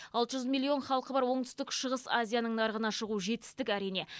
алты жүз миллион халқы бар оңтүстік шығыс азияның нарығына шығу жетістік әрине